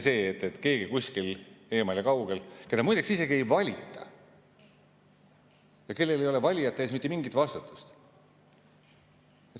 Seda ei otsusta kuskil eemal ja kaugel keegi, keda muideks ametisse ei valita ja kellel ei ole valijate ees mitte mingit vastutust.